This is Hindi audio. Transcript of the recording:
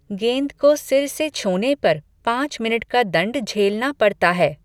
गेंद को सिर से छूने पर पाँच मिनट का दंड झेलना पड़ता है।